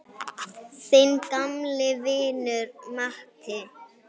Þinn gamli vinur Matti.